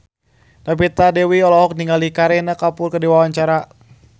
Novita Dewi olohok ningali Kareena Kapoor keur diwawancara